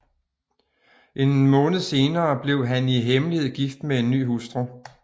En måned senere blev han i hemmelighed gift med en ny hustru